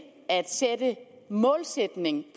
at sætte en målsætning